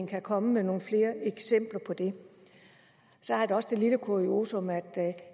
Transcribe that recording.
kan komme med nogle flere eksempler på det så er der også det lille kuriosum at det